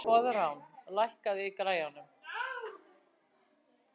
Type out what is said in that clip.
Koðrán, lækkaðu í græjunum.